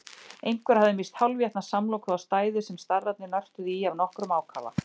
Einhver hafði misst hálfétna samloku á stæðið sem starrarnir nörtuðu í af nokkrum ákafa.